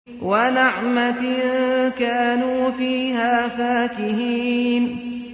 وَنَعْمَةٍ كَانُوا فِيهَا فَاكِهِينَ